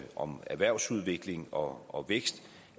om erhvervsudvikling og og vækst